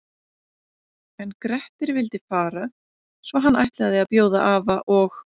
En Grettir vildi fara svo hann ætlaði að bjóða afa og